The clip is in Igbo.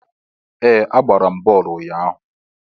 Ee! A gbara bọọlụ ụnyahụ.